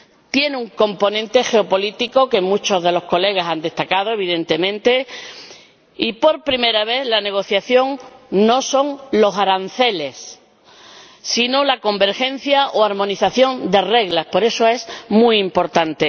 Tiene un componente geopolítico, que muchos de los diputados han destacado, evidentemente, y, por primera vez, la negociación no se centra en los aranceles, sino en la convergencia o armonización de las reglas. Por eso, es muy importante.